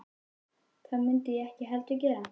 Það mundi ég ekki heldur gera